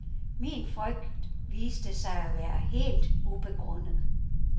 Min frygt viste sig at være helt ubegrundet.